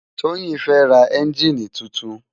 Toyin fè rá ènjini tútún